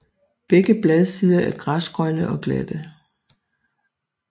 Begge bladsider er græsgrønne og glatte